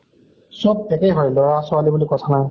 চব একে হয়, লʼৰা ছোৱালী বুলি কথা নাই।